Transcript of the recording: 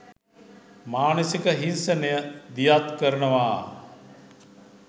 මානසික හින්සනය දියත් කරනවා.